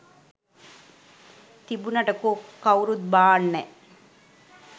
තිබුනට කෝ කවුරුත් බාන්නෑ.